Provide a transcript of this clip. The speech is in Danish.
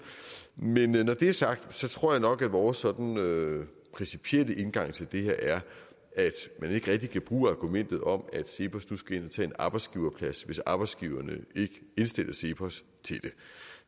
men når det er sagt tror jeg nok at vores sådan principielle indgang til det her er at man ikke rigtig kan bruge argumentet om at cepos nu skal ind at tage en arbejdsgiverplads hvis arbejdsgiverne ikke indstiller cepos til det